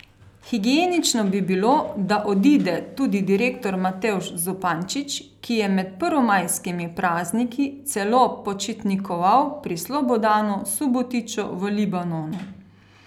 Higienično bi bilo, da odide tudi direktor Matevž Zupančič, ki je med prvomajskimi prazniki celo počitnikoval pri Slobodanu Subotiću v Libanonu.